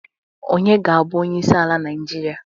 Onye ga-abu onyeisi ala naijiria?